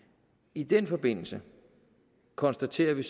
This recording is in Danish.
i den forbindelse konstaterede vi